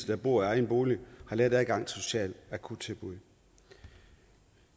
der bor i egen bolig har let adgang socialt akuttilbud vi